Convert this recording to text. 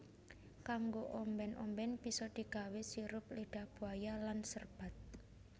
Kanggo omben omben bisa digawe sirup lidah buaya lan serbat